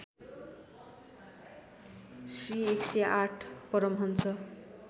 Shri १०८ Paramhans